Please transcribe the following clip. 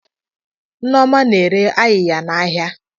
Nneoma na-ere ayiya n'ahịa.